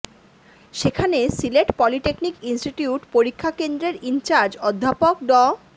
সেখানে Sylhet polytechnic institute পরীক্ষা কেন্দ্রের ইনচার্জ অধ্যাপক ড